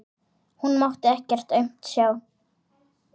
Hún mátti ekkert aumt sjá.